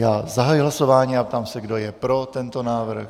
Já zahajuji hlasování a ptám se, kdo je pro tento návrh.